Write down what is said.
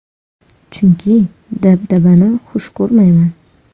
Chunki dabdabani xush ko‘rmayman.